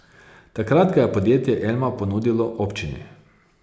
Takrat ga je podjetje Elma ponudilo občini.